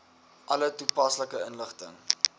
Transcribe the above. alle toepaslike inligting